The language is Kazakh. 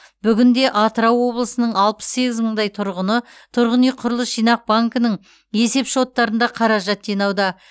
бүгінде атырау облысының алпыс сегіз мыңдай тұрғыны тұрғын үй құрылыс жинақ банкінің есеп шоттарында қаражат жинауда